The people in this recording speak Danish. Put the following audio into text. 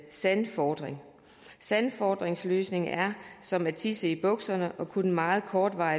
sandfodring sandfodringsløsningen er som at tisse i bukserne og kun en meget kort